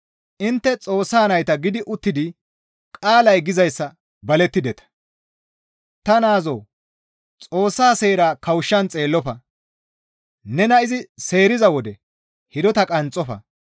Intte Xoossa nayta gidi uttidi qaalay gizayssa balideta; «Ta naazoo Xoossa seera kawushshan xeellofa; nena izi seeriza wode hidota qanxxofa.